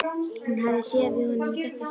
Hún hafði séð við honum í þetta sinn.